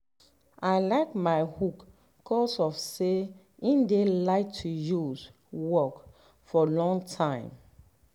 i like my hoe cause of say e dey light to use work for long time.